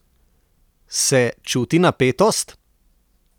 Se čuti napetost?